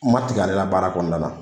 N man tigɛ ale la baara kɔnɔna na.